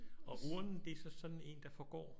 Og urnen det er så sådan en der forgår?